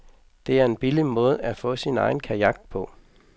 Det er en billig måde at få sin ejen kajak på.